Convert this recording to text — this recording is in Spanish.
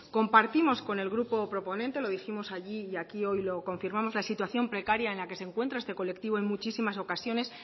compartimos con el grupo proponente lo dijimos allí y aquí hoy lo confirmamos la situación precaria en la que se encuentra este colectivo en muchísimas ocasiones